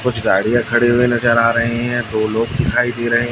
कुछ गाड़ियां खड़ी हुए नजर आ रही हैं दो लोग दिखाई दे रहे--